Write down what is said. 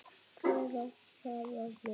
Hvar á það að vera?